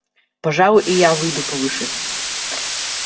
пожалуй и я выйду повыше